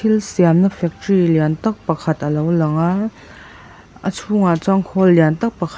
thil siamna factory lian tak pakhat alo lang a a chhûngah chuan khawl lian tak pakhat--